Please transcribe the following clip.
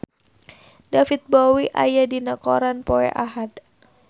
David Bowie aya dina koran poe Ahad